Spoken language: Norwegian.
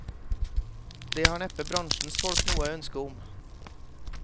Det har neppe bransjens folk noe ønske om.